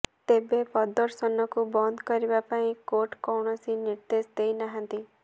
ତେବେ ପ୍ରଦର୍ଶନକୁ ବନ୍ଦ କରିବା ପାଇଁ କୋର୍ଟ କୌଣସି ନିର୍ଦ୍ଦେଶ ଦେଇନାହାଁନ୍ତି